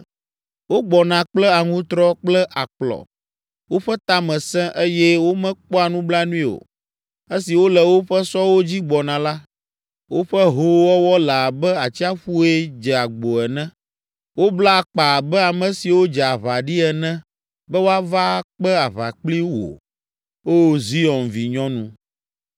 Wogbɔna kple aŋutrɔ kple akplɔ. Woƒe ta me sẽ, eye womekpɔa nublanui o. Esi wole woƒe sɔwo dzi gbɔna la, woƒe hoowɔwɔ le abe atsiaƒue dze agbo ene. Wobla akpa abe ame siwo dze aʋa ɖi ene be woava akpe aʋa kpli wò, Oo, Zion vinyɔnu.